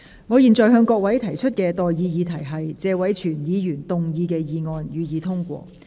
我現在向各位提出的待議議題是：謝偉銓議員動議的議案，予以通過。